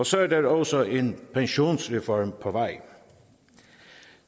så er der også en pensionsreform på vej